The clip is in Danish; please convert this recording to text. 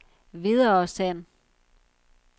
videresend